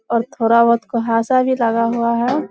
और थोड़ा बहुत कुहासा भी लगा हुआ है।